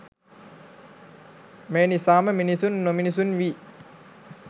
මේ නිසාම මිනිසුන් නොමිනිසුන් වී